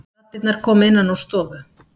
Raddirnar komu innan úr stofu.